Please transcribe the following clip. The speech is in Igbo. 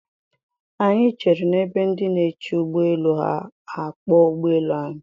Anyị chere n'ebe ndị na-eche ụgbọ elu ha ka a kpọọ ụgbọ elu anyị.